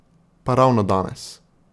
Pa ravno danes!